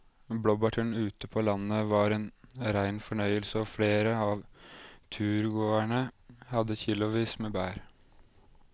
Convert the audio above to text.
Blåbærturen ute på landet var en rein fornøyelse og flere av turgåerene hadde kilosvis med bær.